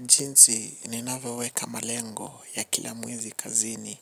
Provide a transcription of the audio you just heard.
Jinsi ninavoweweka malengo ya kila mwezi kazini